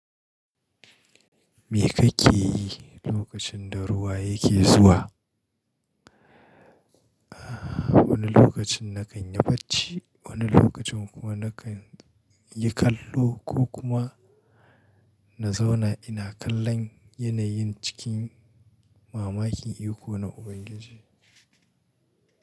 Me kake yi lokacin da ruwa yake zuwa? Wani lokacin na kan yi bacci, wani lokacin kuwa na kan yi kallo ko kuma na zauna ina kallon yanayin cikin mamakin iko na Ubangiji.